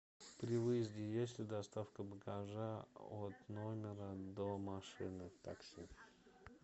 при выезде есть ли доставка багажа от номера до машины такси